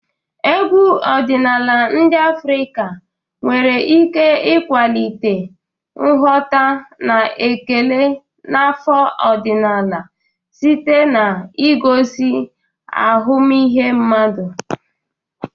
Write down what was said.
Egwu ọdịnala ndị Afrika nwere ike ịkwalite nghọta na ekele n'ofe ọdịnala site n'igosi ahụmịhe mmadụ.